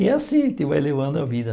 E é assim que vai levando a vida.